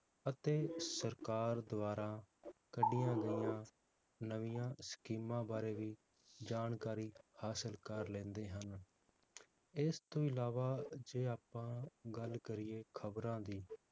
ਅਤੇ ਸਰਕਾਰ ਦਵਾਰਾ ਕੱਢੀਆਂ ਗਈਆਂ ਨਵੀਆਂ ਸਕੀਮਾਂ ਬਾਰੇ ਵੀ ਜਾਣਕਾਰੀ ਹਾਸਿਲ ਕਰ ਲੈਂਦੇ ਹਨ ਇਸ ਤੋਂ ਅਲਾਵਾ ਜੇ ਆਪਾਂ ਗੱਲ ਕਰੀਏ ਖਬਰਾਂ ਦੀ